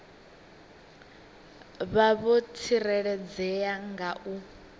vha vho tsireledzea nga u